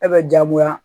E bɛ jagoya